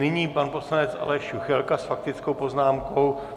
Nyní pan poslanec Aleš Juchelka s faktickou poznámkou.